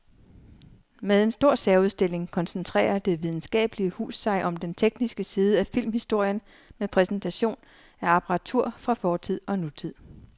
Med en stor særudstilling koncentrerer det videnskabelige hus sig om den tekniske side af filmhistorien med præsentation af apparatur fra fortid og nutid.